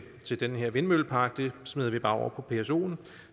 den her vindmøllepark smider vi bare over på psoen